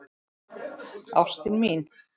Ástin mín.